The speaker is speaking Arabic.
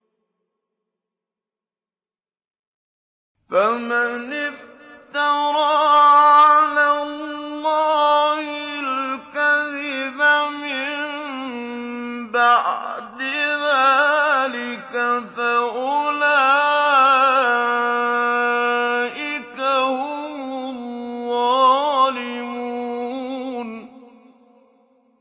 فَمَنِ افْتَرَىٰ عَلَى اللَّهِ الْكَذِبَ مِن بَعْدِ ذَٰلِكَ فَأُولَٰئِكَ هُمُ الظَّالِمُونَ